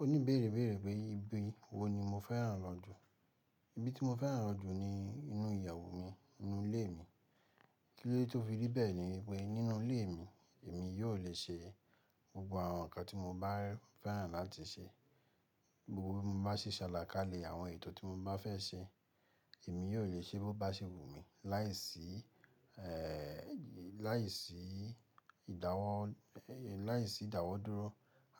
Ó ní béèrè béèrè pé ibi wo ni mo fẹ́ràn lọ jù. Ibi tí mo fẹ́ràn lọ jù ni inú ìyàwó mi, inú ilé mi. Kí ló de tó fi rí bẹ́ẹ̀ ni wípé nínú ilé mi, èmi yóò le ṣe gbogbo àwọn nǹkan tí mo bá fẹ́ràn láti ṣe. Gbogbo bí mo bá ṣe ṣàlákàlé àwọn ètò tí mo bá fẹ́ ṣe, èmi yóò le ṣe bó bá ṣe wù mí láìsí, eh, láìsí ìdáwọ́, láìsí ìdáwọ́ dúró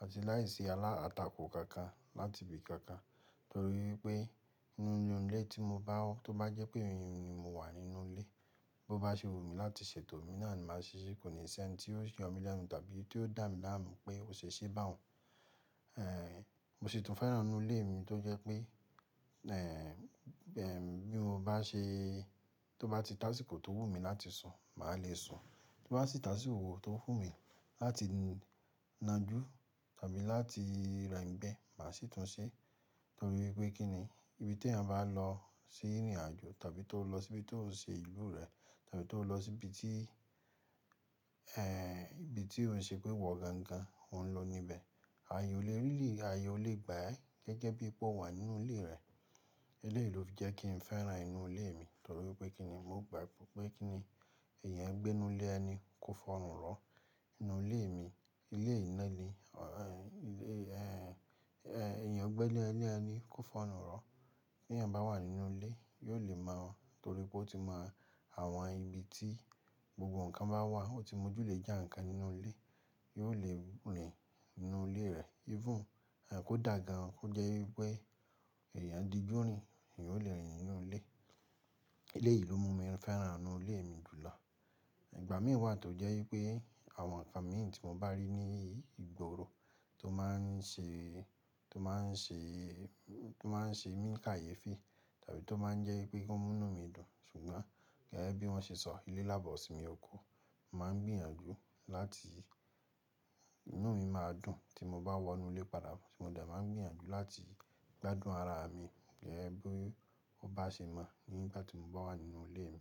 àti láìsí aláǹtakò kankan láti ibi kankan. Torí wipé nínú ilé tí mo bá, tó bá jẹ́ pé emi ni mo wà nínú ilé, bó bá ṣe wù mí láti ṣètò mi náà ni màá ṣe ṣí, kò ní ṣẹ́ ẹni tí yóò yàn mí lẹ́nu tàbí tí yóò dà mí láàmú pé ò ṣe ṣé bá òun. Eh, mo sì tún fẹ́ràn inú ilé mi tó jẹ́ pé, eh, bí mo bá ṣe, tó bá ti dá síko tó wù mí láti sùn, màá le sùn. Tó bá ti tá sí ìwo tó wù mí láti nà jú tàbí láti rẹ ìgbẹ́, màá sì tún ṣe. Nítorí pé kí ni, ibi tí èèyàn bá lọ sí ìrìnàjò tàbí tó lọ sí ibi tó ń ṣe ìlú rẹ̀ tàbí tó lọ sí ibi tí, eh, ibi tí ó ń ṣe pé wọ́ gangan, òun ló ni ibẹ̀. Ayò lè rìlí, ayò lè gbá ẹ́ gẹ́gẹ́ bí ipò wà nínú ilé rẹ̀. Eléyìí ló fi jẹ́ kí n fẹ́ràn inú ilé mi. Nítorí pé kí ni, mo gbàgbọ́ pé kí ni èèyàn gbé inú ilé ẹni kó f'ọrùn ro. Inú ilé mi, ilé ìna ni, eh, ilé, eh, èèyàn gbé lé ẹ lẹ́ẹ́ni kó fọrùn ro. Bí èèyàn bá wà nínú ilé, yóò le mọ̀ wọ́n nítorí pé ó ti mọ àwọn ibi tí gbogbo nǹkan bá wà. Ó ti mọ ojúlẹ̀ẹ́jà nǹkan nínú ilé, yóò le rìn nínú ilé rẹ̀. Even, eh, kó dà gan an, kó jẹ́ wípé èèyàn di ju rin, eeyan óò le rìn nínú ilé. Eléyìí ló mú mi fẹ́ràn inú ilé mi jùlọ. Ìgbà mìí wà tó jẹ́ wípé àwọn nǹkan mìí tí mo bá rí ní ìgboro tó máa ń ṣe, tó máa ń ṣe, tó máa ń ṣe mí káye fi tàbí tó máa ń jẹ́ pé kómúnù mi dùn. Ṣùgbọ́n gẹ́gẹ́ bí wọ́n ṣe sọ, ilé lábọ̀sími ọko, mo máa ń gbìyànjú láti inú mi máa dùn tí mo bá wọ inú ilé padà. Mo de má ń gbìyànjú láti gbádùn ara mi gẹ́gẹ́ bí ó bá ṣe mọ̀ nígbà tí mo bá wà nínú ilé mi.